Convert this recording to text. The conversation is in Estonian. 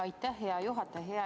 Aitäh, hea juhataja!